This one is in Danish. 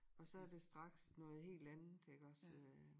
Og så er det straks noget helt andet iggås øh